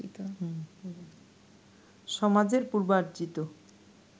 সমাজের পূর্বার্জিত